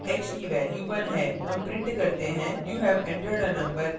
हम print करते हैं you have entered a number in the range of 1019